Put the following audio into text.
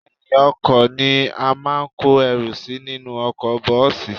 Ẹ̀yìn-ọkọ̀ ni a máa ń kó ẹrù sí nínú ọkọ̀ bọ́ọ̀sì